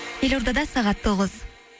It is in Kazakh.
елордада сағат тоғыз